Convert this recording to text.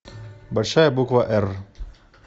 большая буква р